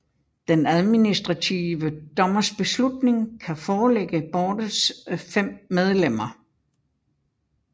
Den administrative dommers beslutning kan forelægges boardets fem medlemmer